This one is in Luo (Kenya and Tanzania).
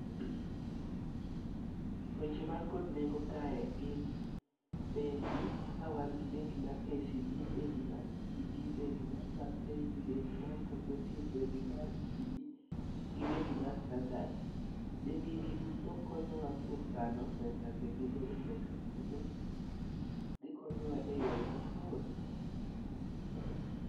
Weche man kod nengo kae gin bengi, ka wan gi bengi mar KCB, bengi mar Equity, bengi mar DTB bengi mar Barcklay bengi mar Cooperative gi bengi mar Standard. Bengi gi duto konyowa e yore mag kano pesa kendo golo pesa kendo gikonyowa e yore mathoth.